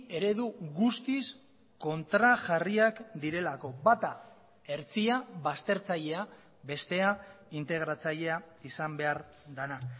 eredu guztiz kontrajarriak direlako bata hertsia baztertzailea bestea integratzailea izan behar dena